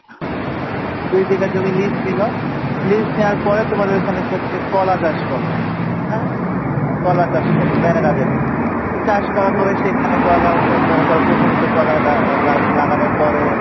দুই বিঘা জমি lease নিলো lease নেওয়ার পরে তোমার সে ওখানে হচ্ছে কলা চাষ করলো হ্যাঁ? কলা চাষ করলো banana যেটা চাষ করার পরে সেখানে কলা হতো মনে করো প্রথমে তো কলা গাছ লাগানোর পরে,